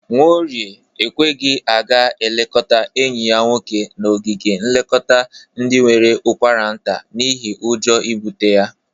Nwaorie ekweghi aga eleta enyi ya nwoke n'ogige nlekọta ndị nwere ụkwaranta n'ihe ọjọ ibụte ya.